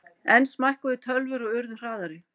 Enn smækkuðu tölvur og urðu hraðari.